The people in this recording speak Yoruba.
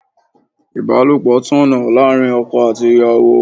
Ibalopo tọ̀nà láàárín ọkọ àti ìyàwó.